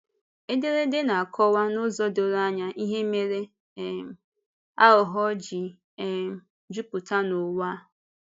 Ederede na-akọwa n'ụzọ doro anya ihe mere um àghụ̀ghọ̀ ji um jupụta n'ụwa a.